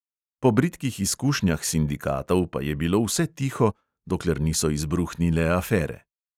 Po bridkih izkušnjah sindikatov pa je bilo vse tiho, dokler niso izbruhnile afere.